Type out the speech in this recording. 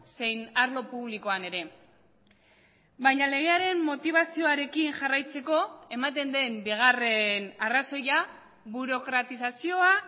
zein arlo publikoan ere baina legearen motibazioarekin jarraitzeko ematen den bigarren arrazoia burokratizazioa